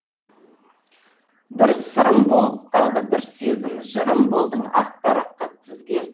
бір сырым болып қалды бір сезім жырым болдың ақ параққа тізген